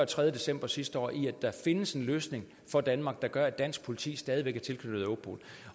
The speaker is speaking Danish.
tredje december sidste år i at der findes en løsning for danmark der gør at dansk politi stadig væk er tilknyttet europol